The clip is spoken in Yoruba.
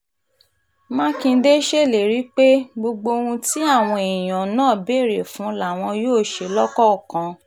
mákindé ṣèlérí pé gbogbo ohun tí àwọn èèyàn náà béèrè fún làwọn yóò ṣe lọ́kọ̀ọ̀kan